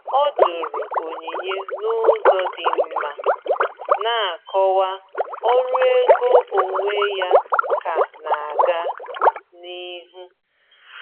Ọ jụrụ onyinye n’ụzọ dị mma, na-akọwa ọrụ ego onwe ya ka na-aga n’ihu.